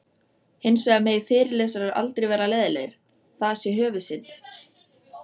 Hins vegar megi fyrirlesarar aldrei vera leiðinlegir, það sé höfuðsynd.